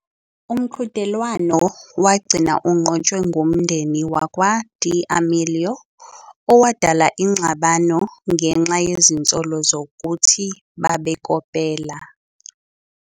Umqhudelwano wagcina unqotshwe ngumndeni wakwa-D'Amelio, owadala ingxabano ngenxa yezinsolo zokuthi babekopela.